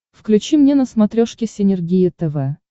включи мне на смотрешке синергия тв